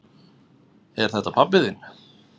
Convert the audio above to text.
Er þetta pabbi þinn?